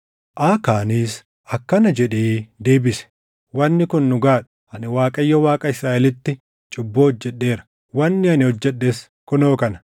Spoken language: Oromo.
Aakaanis akkana jedhee deebise; “Wanni kun dhugaa dha! Ani Waaqayyo Waaqa Israaʼelitti cubbuu hojjedheera. Wanni ani hojjedhes kunoo kana: